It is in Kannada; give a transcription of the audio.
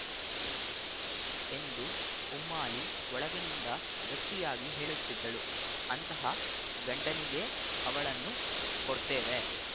ಎಂದು ಉಮ್ಮಾಲಿ ಒಳಗಿನಿಂದ ಗಟ್ಟಿಯಾಗಿ ಹೇಳುತ್ತಿದ್ದಳು ಅಂತಹ ಗಂಡನಿಗೇ ಅವಳನ್ನು ಕೊಡ್ತೇವೆ